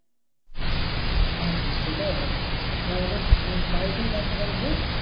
হ্যাঁ হ্যাঁ সেটাই ভালো আর তোর বাড়ি থেকে bank টা কত দূর?